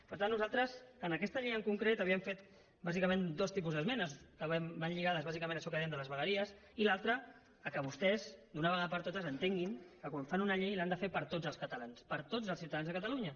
per tant nosaltres en aquesta llei en concret havíem fet bàsicament dos tipus d’esmenes que van lligades bàsicament a això que dèiem de les vegueries i l’altra que vostès d’una vegada per totes entenguin que quan fan una llei l’han de fer per a tots els catalans per a tots els ciutadans de catalunya